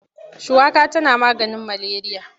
Shuwaka tana maganin maleriya.